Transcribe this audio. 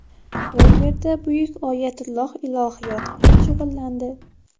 U yerda buyuk oyatulloh ilohiyot bilan shug‘ullandi.